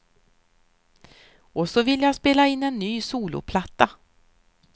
Och så vill jag spela in en ny soloplatta.